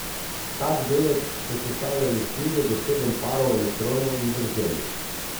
Tak delec so sestavljali štirje do sedem parov elektronov in vrzeli.